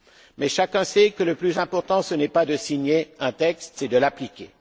Mais, chacun sait que le plus important, ce n'est pas de signer un texte, c'est de l'appliquer.